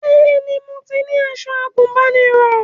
Bẹ́ẹ̀ni mo ní aṣọ àgùnbánirọ̀